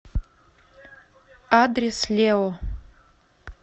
адрес лео